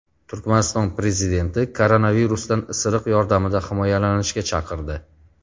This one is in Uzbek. Turkmaniston prezidenti koronavirusdan isiriq yordamida himoyalanishga chaqirdi.